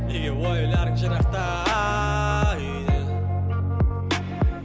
неге ойларың жырақта үйден